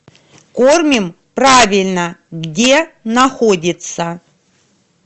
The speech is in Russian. кормим правильно где находится